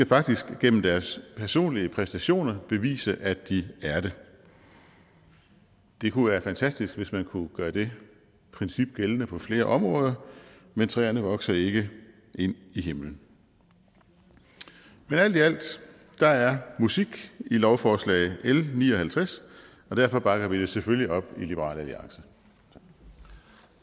faktisk gennem deres personlige præstationer bevise at de er det det kunne være fantastisk hvis man kunne gøre det princip gældende på flere områder men træerne vokser ikke ind i himlen men alt i alt der er musik i lovforslag l ni og halvtreds og derfor bakker vi det selvfølgelig op i liberal alliance